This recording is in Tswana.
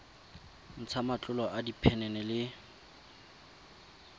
ntsha matlolo a diphenene le